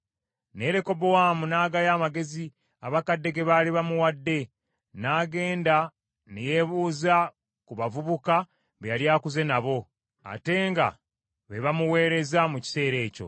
Naye Lekobowaamu n’aggaya amagezi abakadde ge baali bamuwadde, n’agenda ne yeebuuza ku bavubuka be yali akuze nabo, ate nga be bamuweereza mu kiseera ekyo.